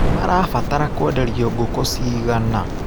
Marabatara kwenderio ngukũ cigana.